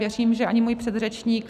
Věřím, že ani můj předřečník.